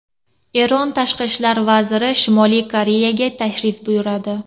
Eron tashqi ishlar vaziri Shimoliy Koreyaga tashrif buyuradi.